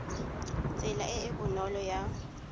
tsela e e bonolo ya